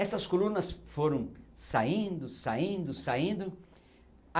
Essas colunas foram saindo, saindo, saindo.